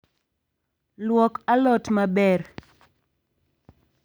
Luok alot maber